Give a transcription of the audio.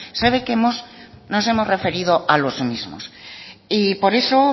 sabe que hemos nos hemos referido a los mismos y por eso